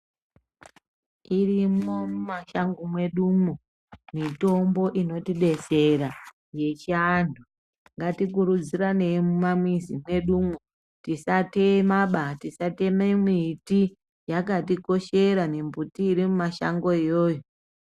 Irimwo mumashango mwedumwo mitombo inotidetsera yechiantu. Ngatikurudziranei mumamwizi mwedumwo, tisatemaba tisateme miti yakatikoshera mimbuti irimumashango iyoyo.